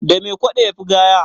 da me kwado ya Fi gaya